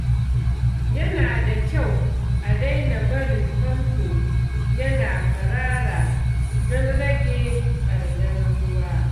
Yana da kyau a daina barin famfo yana kwarara don rage ɓarnar ruwa.